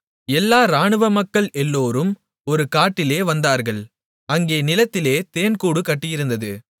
எல்லா இராணுவ மக்கள் எல்லோரும் ஒரு காட்டிலே வந்தார்கள் அங்கே நிலத்திலே தேன் கூடு கட்டியிருந்தது